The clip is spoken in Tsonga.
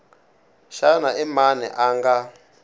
xana i mani a nga